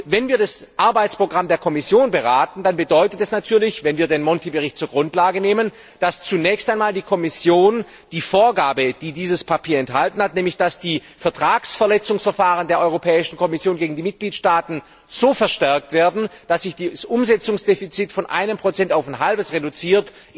Wenn wir das Arbeitsprogramm der Kommission beraten, dann bedeutet das natürlich wenn wir den Monti Bericht zur Grundlage nehmen dass zunächst einmal die Kommission die Vorgabe, die dieses Papier enthält, in Angriff nimmt, nämlich dass die Vertragsverletzungsverfahren der Europäischen Kommission gegen die Mitgliedstaaten so verstärkt werden, dass sich das Umsetzungsdefizit von 1 auf 0,5 reduziert.